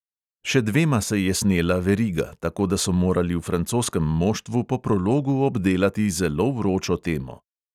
Še dvema se je snela veriga, tako da so morali v francoskem moštvu po prologu obdelati zelo vročo temo.